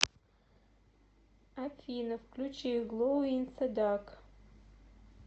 афина включи гловинзедарк